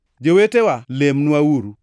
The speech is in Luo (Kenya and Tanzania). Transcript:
Jowetewa, lemnwauru.